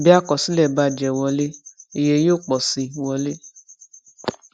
bí àkọsílẹ bá jẹ wọlé iye yóò pọ sí wọlé